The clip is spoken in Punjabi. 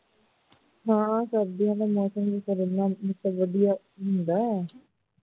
ਹਾਂ ਸਰਦੀਆਂ ਦਾ ਮੌਸਮ ਵੀ ਤਕਰੀਬਨ ਵਧੀਆ ਹੁੰਦਾ ਹੈ